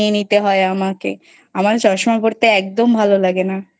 নিয়ে নিতে হয় আমাকে আমার চশমা পড়তে একদম ভালো লাগে না।